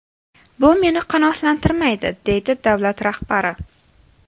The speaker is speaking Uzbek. Bu meni qanoatlantirmaydi”, deydi davlat rahbari.